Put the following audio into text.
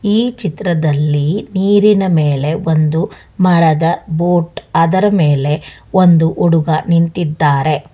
ಈ ಚಿತ್ರದಲ್ಲಿ ನೀರಿನ ಮೇಲೆ ಒಂದು ಮರದ ಬೋಟ್ ಅದರ ಮೇಲೆ ಒಂದು ಹುಡುಗ ನಿಂತಿದ್ದಾರೆ.